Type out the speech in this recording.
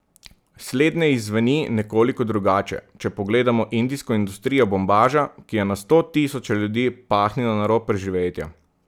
Slednje izzveni nekoliko drugače, če pogledamo indijsko industrijo bombaža, ki je na sto tisoče ljudi pahnila na rob preživetja.